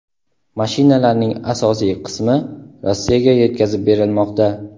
Mashinalarning asosiy qismi Rossiyaga yetkazib berilmoqda.